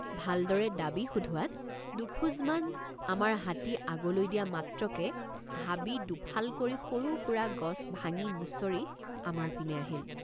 ভালদৰে ডাবি সোধোৱাত দুখোজমান আমাৰ হাতী আগলৈ দিয়া মাত্ৰকে হাবি দুফাল কৰি সৰুসুৰা গছ ভাঙিমুছৰি আমাৰ পিনে আহিল।